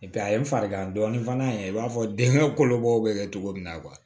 a ye n farigan dɔɔni fana i b'a fɔ den kolobɔ bɛ kɛ cogo min na